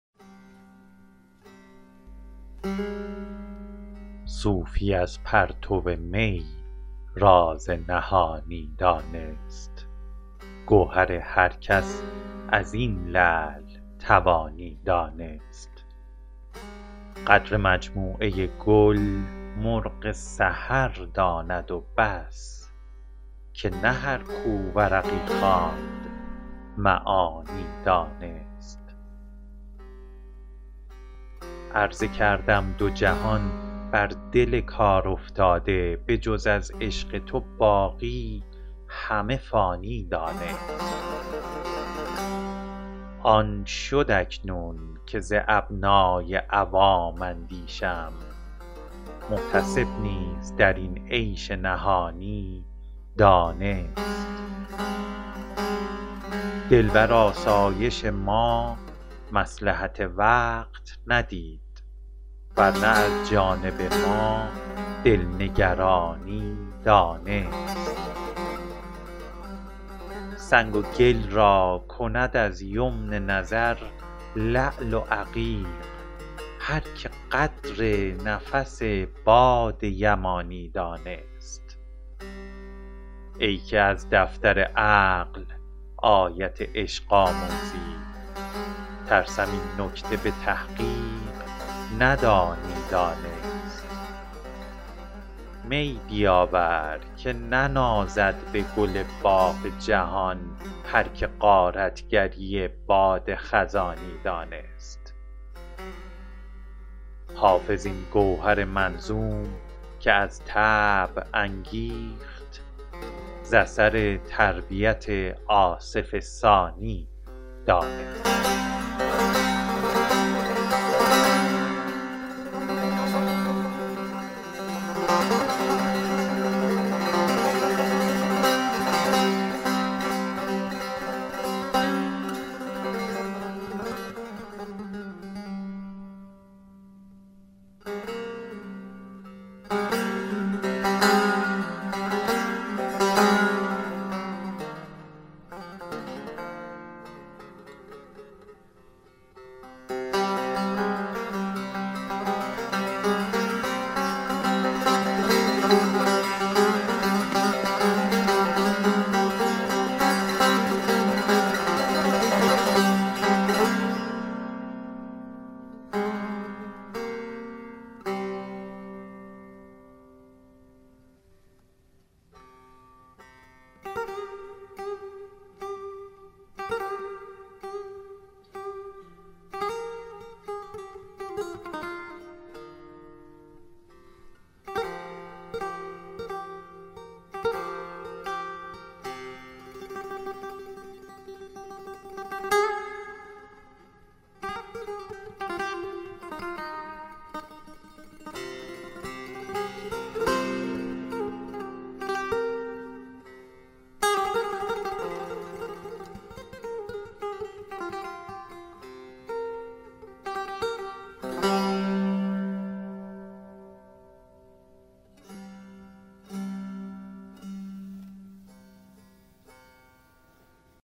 صوفی از پرتو می راز نهانی دانست گوهر هر کس از این لعل توانی دانست قدر مجموعه گل مرغ سحر داند و بس که نه هر کو ورقی خواند معانی دانست عرضه کردم دو جهان بر دل کارافتاده به جز از عشق تو باقی همه فانی دانست آن شد اکنون که ز ابنای عوام اندیشم محتسب نیز در این عیش نهانی دانست دل بر آسایش ما مصلحت وقت ندید ور نه از جانب ما دل نگرانی دانست سنگ و گل را کند از یمن نظر لعل و عقیق هر که قدر نفس باد یمانی دانست ای که از دفتر عقل آیت عشق آموزی ترسم این نکته به تحقیق ندانی دانست می بیاور که ننازد به گل باغ جهان هر که غارت گری باد خزانی دانست حافظ این گوهر منظوم که از طبع انگیخت ز اثر تربیت آصف ثانی دانست